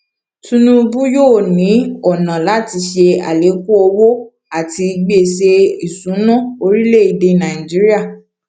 tinubu yóò ní ọnà láti ṣe alekun owó àti gbèsè ìṣúná orílèèdè nàìjíríà